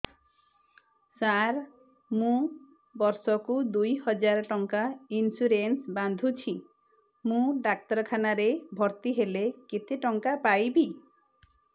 ସାର ମୁ ବର୍ଷ କୁ ଦୁଇ ହଜାର ଟଙ୍କା ଇନ୍ସୁରେନ୍ସ ବାନ୍ଧୁଛି ମୁ ଡାକ୍ତରଖାନା ରେ ଭର୍ତ୍ତିହେଲେ କେତେଟଙ୍କା ପାଇବି